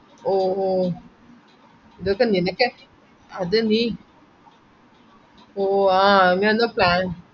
ലാൽ ബഹ ജവഹർലാൽ നെഹ്‌റു planetarium ഇതൊക്കെ ഞൻ എപ്പഴേ പാഴാ